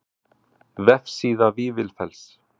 Vefsíða Vífilfells.